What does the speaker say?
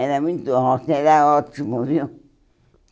Era muito ó era ótimo, viu?